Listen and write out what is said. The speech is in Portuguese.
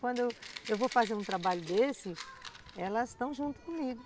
Quando eu, eu vou fazer um trabalho desse, elas estão junto comigo.